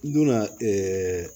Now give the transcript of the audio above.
Donna ɛɛ